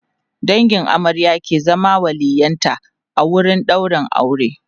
dangin amarya ke zama waliyyin ta a wurin ɗaurin aure